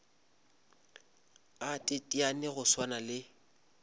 a teteane go swana le